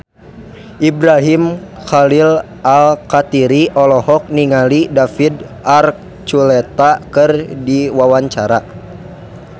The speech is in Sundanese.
Ibrahim Khalil Alkatiri olohok ningali David Archuletta keur diwawancara